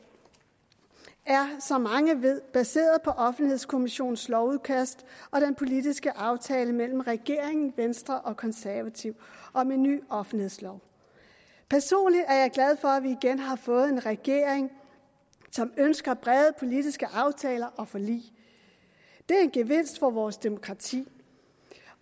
er som mange ved baseret på offentlighedskommissionens lovudkast og den politiske aftale mellem regeringen venstre og konservative om en ny offentlighedslov personligt er jeg glad for at vi igen har fået en regering som ønsker brede politiske aftaler og forlig det er en gevinst for vores demokrati